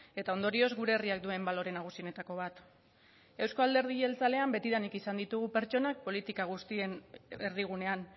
eta ondorioz gure herriak duen balore nagusienetako bat euzko alderdi jeltzalean betidanik izan ditugu pertsonak politika guztien erdigunean